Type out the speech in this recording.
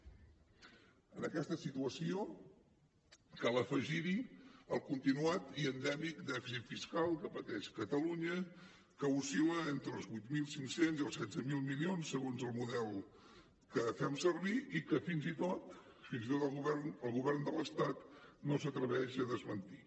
a aquesta situació cal afegir hi el continuat i endèmic dèficit fiscal que pateix catalunya que oscil·la entre els vuit mil cinc cents i els setze mil milions segons el model que fem servir i que fins i tot el govern de l’estat no s’atreveix a desmentir